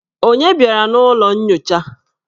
Onye bịara n'ụlọ nyocha?